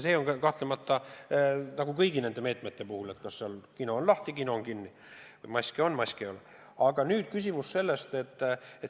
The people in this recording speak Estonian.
See on nagu kõigi nende meetmete puhul: kas kino on lahti või kino on kinni, kas maske on või maske ei ole.